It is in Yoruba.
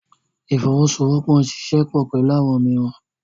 Ifowosowopo n ṣiṣẹ pọ pẹlu awọn omiiran.